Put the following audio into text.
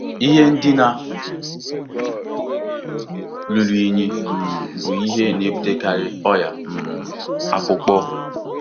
Ihe ndina ruru unyi um bụ ihe na-ebutekarị ọrịa um akpụkpọ.